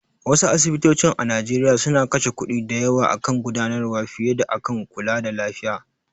Wasu asibitocin a Nigeria suna kashe kuɗi da yawa akan gudanarwa fiye da akan kulada lafiya.